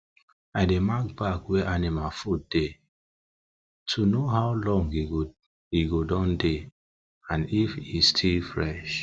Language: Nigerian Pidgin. i dey mark bag wey anima food dey to no how long e don dey and if e still fresh